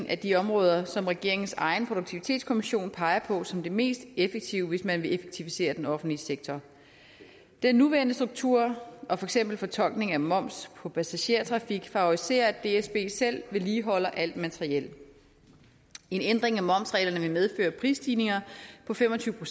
af de områder som regeringens egen produktivitetskommission peger på som det mest effektive hvis man vil effektivisere den offentlige sektor den nuværende struktur og for eksempel fortolkning af moms på passagertrafik favoriserer at dsb selv vedligeholder alt materiel en ændring af momsreglerne vil medføre prisstigninger på fem og tyve